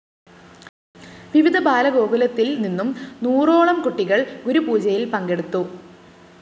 വിവിധ ബാലഗോകുലത്തില്‍ നിന്നും നൂറോളംകുട്ടികള്‍ ഗുരുപൂജയില്‍ പങ്കെടുത്തു